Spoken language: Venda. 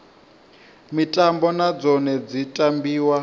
mitambo na dzone dzi tambiwa